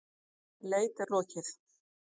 Leit er lokið.